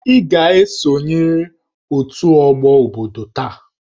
Ị ga-esonyerịrị otu ọgbọ obodo taa!